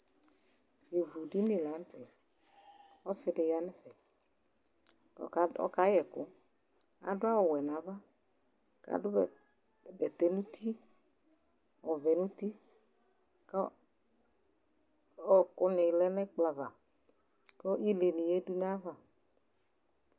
Ivudini la nʋ tɛ ,ɔsɩ dɩ ya n'ɛfɛ ,k'ọka ɔkayɛ ɛkʋ Adʋ awʋwɛ n'ava ,adʋ bɛ bɛtɛ n'u ɔvɛ n'uti ,k'ɔɔ k'ɔọkʋ nɩ lɛ n'ɛkplɔava Ile nɩ yǝdu n'ayava